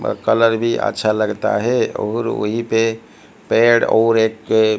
व कलर भीं अच्छा लगता हैं और वहीं पे पेड़ और एक अ--